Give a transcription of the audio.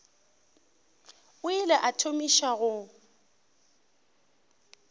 o ile a thomiša go